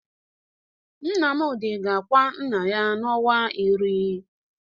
Nnamdị ga-akwa nna ya n'ọnwa iri.